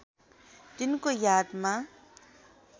तिनको यादमा